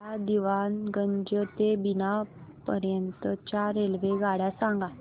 मला दीवाणगंज ते बिना पर्यंत च्या रेल्वेगाड्या सांगा